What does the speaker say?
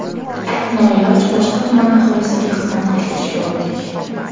Noiloj boshqa tuman aholisiga xizmat ko‘rsatishga o‘tdik.